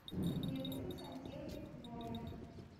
мне нужен сантехник в номер